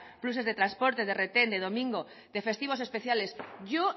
pluses de transporte de retén de domingo de festivos especiales yo